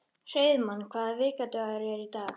Hreiðmar, hvaða vikudagur er í dag?